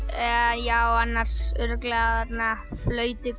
já annars örugglega þarna